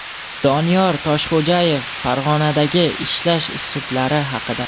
Doniyor Toshxo‘jayev Farg‘onadagi ishlash uslublari haqida.